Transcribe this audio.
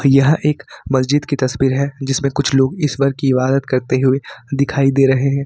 यह एक मस्जिद की तस्वीर है जिसमें कुछ लोग इस बार की इबादत करते हुए दिखाई दे रहे हैं।